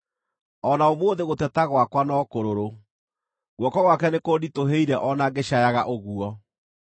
“O na ũmũthĩ gũteta gwakwa no kũrũrũ; guoko gwake nĩkũnditũhĩire o na ngĩcaayaga ũguo.